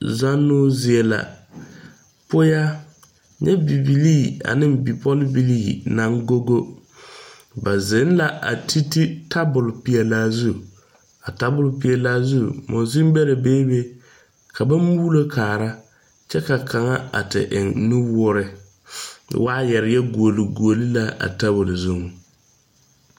Zannoo zie la poyaa nyɛ bibilii aneŋ bipɔlbilii naŋ go go ba zeŋ la a te te tabol peɛlaa zu a tabol peɛlaa zu monsen bɛrɛ beebe ka ba muulo kaara kyɛ ka kaŋa a te eŋ nu woore waayarre yɛ guuli guuli la a tabol zuŋ.